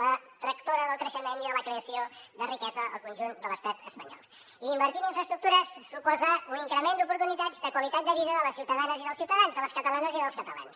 la tractora del creixement i de la creació de riquesa al conjunt de l’estat espanyol i invertir en infraestructures suposa un increment d’oportunitats de qualitat de vida de les ciutadanes i dels ciutadans de les catalanes i dels catalans